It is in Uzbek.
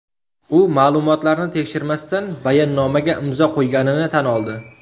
U ma’lumotlarni tekshirmasdan bayonnomaga imzo qo‘yganini tan oldi.